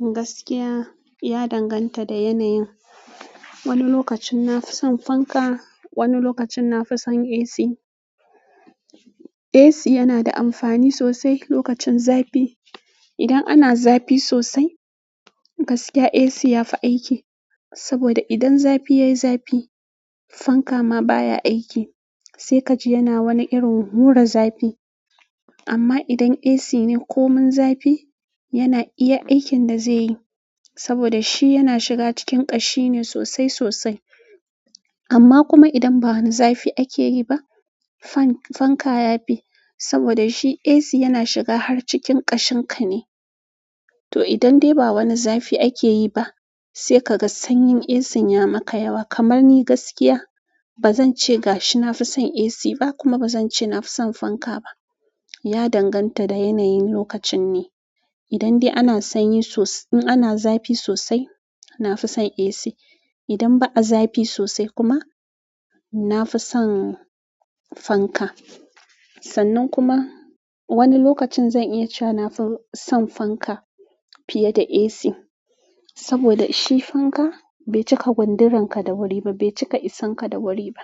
Gaskiya, ya danganta da yanayin. Wani lokacin na fi son fanka, wani lokacin na fi son AC. AC yana da amfani sosai lokacin zafi. Idan ana zafi sosai, gaskiya AC ya fi aiki. Saboda idan zafi ya yi zafi, fanka ma baya aiki, sai ka ji yana wani irin hura zafi. Amma idan AC ne komin zafi, yana iya aikin da zai yi saboda shi yana shiga cikin ƙashi ne sosai sosai. Amma kuma idan ba wani zafi ake yi ba, fan-fanka ya fi saboda shi AC yana shiga har cikin ƙashin ka ne. To idan dai ba wani zafi ake yi ba, sai ka ga sanyin AC ya maka yawa. Kamar ni gaskiya, ba zan ce ga shi na fi son AC ba kuma ba zan ce na fi son fanka ba. Ya danganta da yanayin lokacin ne. Idan dai ana sanyi sos-- in ana zafi sosai, na fi son AC. Idan ba a zafi sosai kuma, na fi son fanka. Sannan kuma wani lokacin zan iya cewa na fi son fanka fiye da AC saboda shi fanka bai cika gundurar ka da wuri ba, bai cika isanka da wuri ba.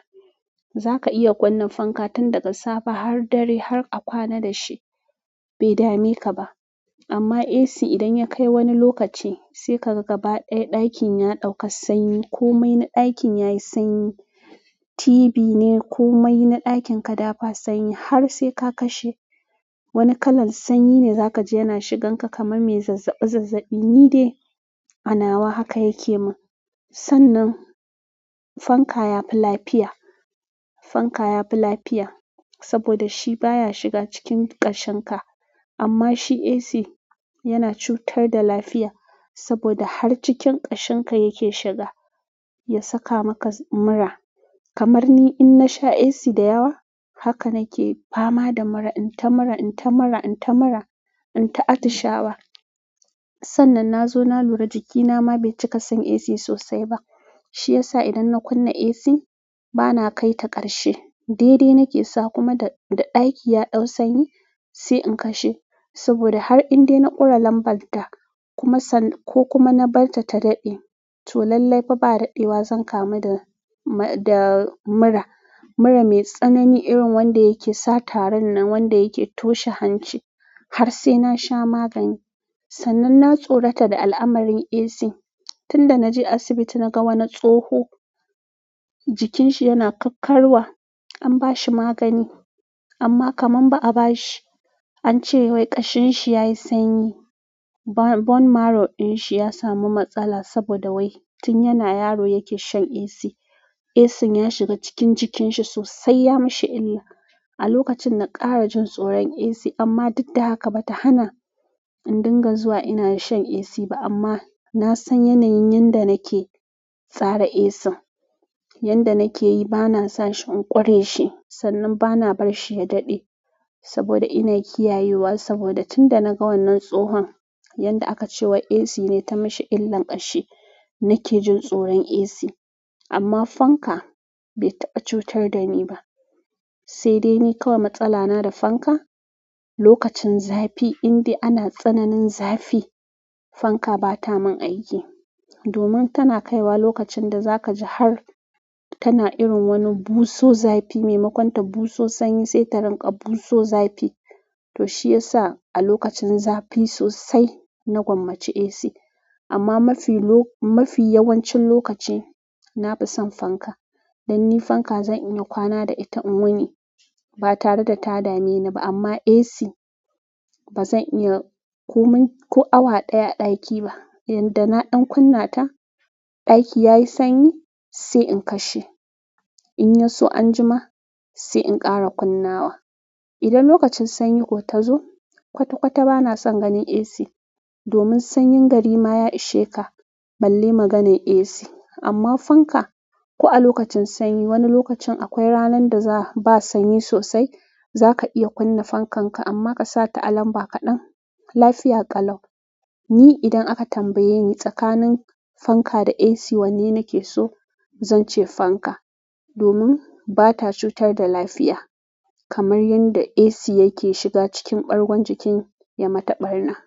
Zaka iya kunna fanka tun daga safe har dare, har a kwana dashi bai dameka ba amma AC idan ya kai wani lokaci sai ka ga gaba ɗayan ɗakin ya ɗauka sanyi ko mai na ɗakin yayi sanyi, TV ne ko mai na ɗakin ka da ba sanyi har sai ka kashe, wani kalar sanyi ne za ka ji yana shigan ka kamar mai zazzaɓi zazzaɓi, ni dai a nawa haka yake min. Sannan fanka yafi lafiya, fanka yafi lafiya saboda shi baya shiga cikin ƙashin ka. Amma shi AC yana cutar da lafiya saboda har cikin ƙashin ka yake shiga ya saka maka mura. Kamar ni in na sha AC da yawa, haka nake fama da mura. In ta mura, in ta mura, in ta mura, in ta atishawa. Sannan na zo na lura jikina ma bai cika son AC sosai ba. Shiyasa idan na kunna AC, ba na kai ta ƙarshe. Daidai nake sa kuma da, da ɗaki ya ɗau sanyi sai in kashe. Saboda har in dai na ƙura lambar ta kuma san-- ko kuma na bar ta ta daɗe, to lallai fa ba daɗewa zan kamu da ma-- da mura. Mura mai tsanani irin wanda yake sa tarin na wanda yake toshe hanci har sai na sha magani. Sannan na tsorata da al'amarin AC. Tun da na je asibiti na ga wani tsoho, jikin shi yana karkarwa. An ba shi magani amma kamar ba a ba shi. An ce wai ƙashin shi ya yi sanyi. Bone marrow ɗin shi ya samu matsala saboda wai tun yana yaro yake shan AC. ACn ya shiga cikin jikin shi sosai, ya mishi illa. A lokacin na ƙara jin tsoron AC amma duk da haka ba ta hana in dinga zuwa ina shan AC ba amma na san yanayin yanda nake tsara ACn. Yanda nake yi ba na sa shi in ƙure shi sannan ba na bar shi ya daɗe saboda ina kiyayewa saboda tunda naga wannan tsohon yanda akace wai AC ne ta mishi illan kashi nake jin tsoron AC amma fanka bai taɓa cutar da ni ba. Sai dai ni kawai matsala na da fanka, lokacin zafi indai ana tsananin zafi, fanka ba ta min aiki. Domin tana kaiwa lokacin da za ka ji har tana irin wani buso zafi, maimakon ta buso sanyi sai ta rinƙa buso zafi. To shi ya sa a lokacin zafi sosai, na gwammaci AC. Amma mafi lo-- mafi yawancin lokaci, na fi son fanka. Dan ni fanka zan iya kwana da ita in wuni ba tare da ta dame ni ba amma AC ba zan iya komin-- ko awa ɗaya a ɗaki ba. Yadda na ɗan kunna ta, ɗaki yayi sanyi sai in kashe. In ya so an jima sai in ƙara kunnawa. Idan lokacin sanyi kuwa ta zo, kwata kwata ba na son ganin AC domin sanyin gari ma ya ishe ka, balle maganan AC. Amma fanka, ko a lokacin sanyi, wani lokacin akwai ranar da za ba sanyi sosai, za ka iya kunna fankan ka amma ka sa ta a lamba kaɗan. Lafiya ƙalau. Ni idan aka tambaye ni tsakanin fanka da AC wanne nake so, zan ce fanka domin ba ta cutar da lafiya kamar yanda AC yake shiga cikin ɓargon jikin ya mata ɓarna.